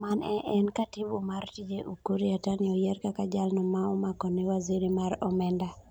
Mane en katibu mar Tije Ukur Yatani oyier kaka jaal no maomakone waziri mar omenda.